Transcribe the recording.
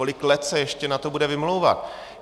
Kolik let se na to ještě bude vymlouvat?